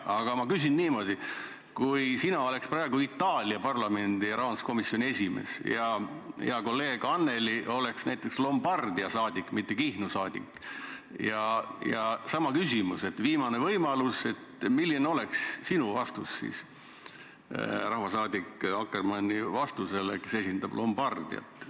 Aga ma küsin niimoodi: kui sina oleks praegu Itaalia parlamendi rahanduskomisjoni esimees ja hea kolleeg Annely oleks näiteks Lombardia saadik, mitte Kihnu saadik, ja ta esitaks sama küsimuse viimase võimaluse kohta, siis milline oleks sinu vastus rahvasaadik Akkermanni vastusele, kes esindab Lombardiat?